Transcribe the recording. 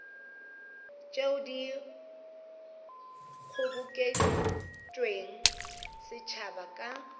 tšeo di kgobokeditšwego setšhabeng ka